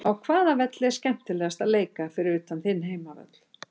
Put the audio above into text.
Á hvaða velli er skemmtilegast að leika fyrir utan þinn heimavöll?